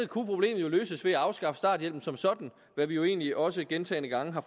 kunne jo løses ved at afskaffe starthjælpen som sådan hvad vi jo egentlig også gentagne gange har